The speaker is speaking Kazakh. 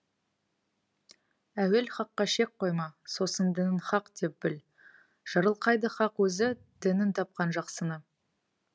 әуел хаққа шек қойма сосын дінін хақ деп біл жарылқайды хақ өзі дінін тапқан жақсыны